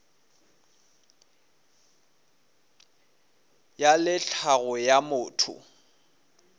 ya le tlhago ya motho